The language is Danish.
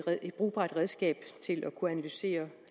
brugbart redskab til at kunne analysere